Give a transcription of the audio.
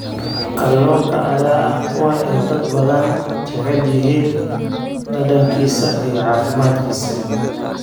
Kalluunka ayaa ah kuwa ay dad badan jecel yihiin dhadhankiisa iyo caafimaadkiisa.